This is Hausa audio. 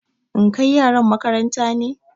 In kai yaran makaranta ne?